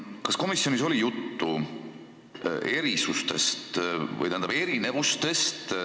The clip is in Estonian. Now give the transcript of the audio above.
Kas komisjonis oli juttu erinevustest?